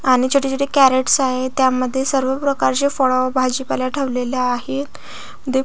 आणि छोटी छोटी कॅरेटस आहेत त्या मध्ये सर्व प्रकारचे फळ भाजीपाला ठेवलेले आहेत द --